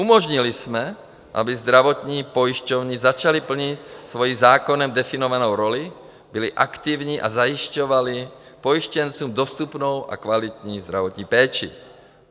Umožnili jsme, aby zdravotní pojišťovny začaly plnit svoji zákonem definovanou roli, byly aktivní a zajišťovaly pojištěncům dostupnou a kvalitní zdravotní péči.